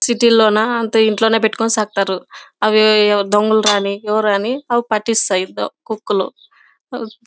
City లోన అంతా ఇంట్లో పెట్టుకుని చేస్తారు. అవి దొంగలు రాని ఎవరెన్ని అవి పట్టిస్తాయి కుక్కలు. మ్మ్ --